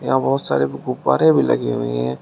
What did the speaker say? यहाँ बहुत सारे गुब गुब्बारे भी लगे हुए हैं।